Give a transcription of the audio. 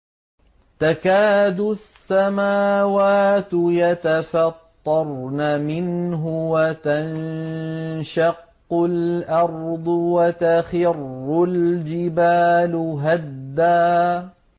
تَكَادُ السَّمَاوَاتُ يَتَفَطَّرْنَ مِنْهُ وَتَنشَقُّ الْأَرْضُ وَتَخِرُّ الْجِبَالُ هَدًّا